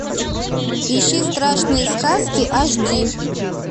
ищи страшные сказки аш ди